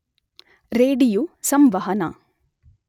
radio ಸಂವಹನ